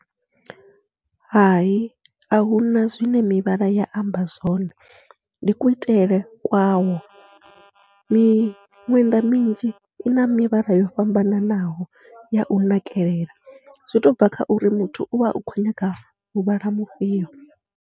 Hai ahuna zwine mivhala ya amba zwone, ndi kuitele kwawo miṅwenda minzhi ina mivhala yo fhambananaho yau nakelela zwi tobva kha uri muthu uvha u kho nyaga muvhala mufhio.